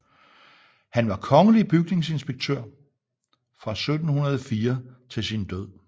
Han var kongelig bygningsinspektør fra 1704 til sin død